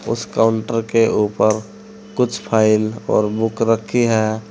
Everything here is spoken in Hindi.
उस काउंटर के ऊपर कुछ फाइल और बुक रखी है।